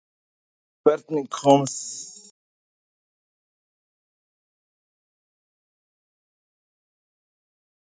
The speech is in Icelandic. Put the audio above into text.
Hvernig kom það til að Þóra Björg Helgadóttir kemur inn í landsliðið að nýju?